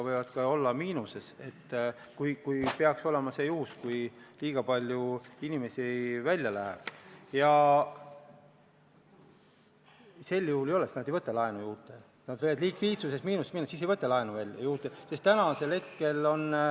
Head Riigikogu liikmed!